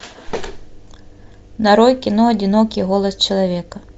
нарой кино одинокий голос человека